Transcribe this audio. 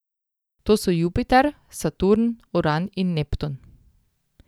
To so Jupiter, Saturn, Uran in Neptun.